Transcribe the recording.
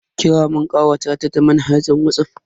Kira mun kawata ta manhajar Whatsapp.